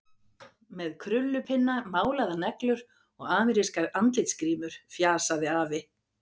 Með krullupinna, málaðar neglur og amerískar andlitsgrímur, fjasaði afi.